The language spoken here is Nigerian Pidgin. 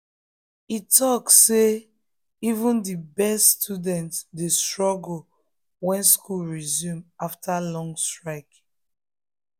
e talk say even the best students dey struggle when school resume after long strike.